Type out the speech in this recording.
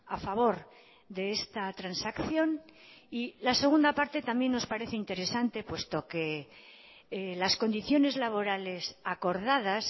a favor de esta transacción y la segunda parte también nos parece interesante puesto que las condiciones laborales acordadas